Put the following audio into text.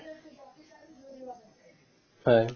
হয়